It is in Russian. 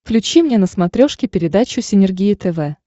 включи мне на смотрешке передачу синергия тв